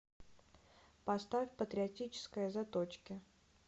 поставь патриотическая заточки